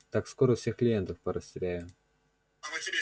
так скоро всех клиентов порастеряю